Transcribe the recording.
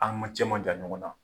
A ma cɛ ma jan ɲɔgɔn na